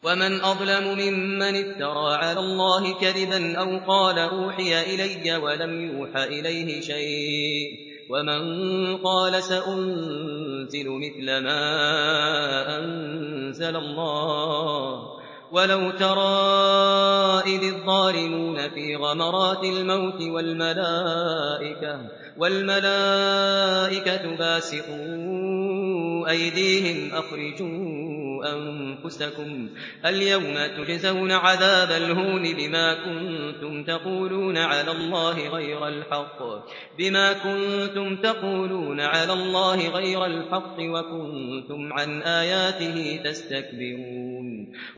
وَمَنْ أَظْلَمُ مِمَّنِ افْتَرَىٰ عَلَى اللَّهِ كَذِبًا أَوْ قَالَ أُوحِيَ إِلَيَّ وَلَمْ يُوحَ إِلَيْهِ شَيْءٌ وَمَن قَالَ سَأُنزِلُ مِثْلَ مَا أَنزَلَ اللَّهُ ۗ وَلَوْ تَرَىٰ إِذِ الظَّالِمُونَ فِي غَمَرَاتِ الْمَوْتِ وَالْمَلَائِكَةُ بَاسِطُو أَيْدِيهِمْ أَخْرِجُوا أَنفُسَكُمُ ۖ الْيَوْمَ تُجْزَوْنَ عَذَابَ الْهُونِ بِمَا كُنتُمْ تَقُولُونَ عَلَى اللَّهِ غَيْرَ الْحَقِّ وَكُنتُمْ عَنْ آيَاتِهِ تَسْتَكْبِرُونَ